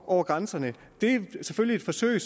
over grænserne det var selvfølgelig et forsøg